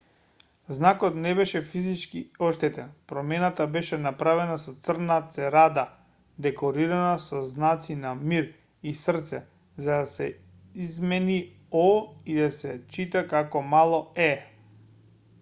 знакот не беше физички оштетен промената беше направена со црна церада декорирана со знаци на мир и срце за да се измени о и да се чита како мало е